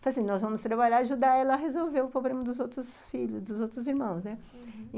Falei assim, nós vamos trabalhar, ajudar ela a resolver o problema dos outros filhos, dos outros irmãos, né? Uhum.